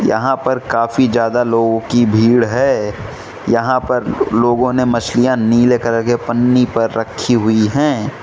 यहां पर काफी ज्यादा लोगों की भीड़ है यहां पर लोगों ने मछलियां नीले कलर के पन्नी पर रखी हुई हैं।